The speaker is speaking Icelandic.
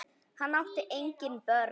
Hann átti engin börn.